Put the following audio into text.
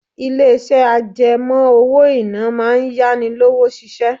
Ilé-iṣẹ́ àjẹmọ́ owó-ìná máa ń yá ni lówó ṣiṣẹ́